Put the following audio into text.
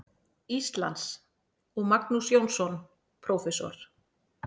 Íslands, og Magnús Jónsson, prófessor.